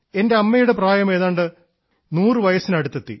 എൻറെ അമ്മയുടെ പ്രായം ഏതാണ്ട് നൂറുവർഷത്തിന് അടുത്തെത്തി